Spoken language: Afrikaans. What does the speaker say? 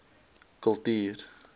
kultuur